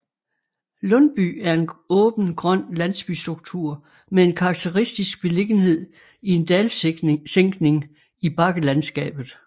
Lundby er en åben grøn landsbystruktur med en karakteristisk beliggenhed i en dalsænkning i bakkelandskabet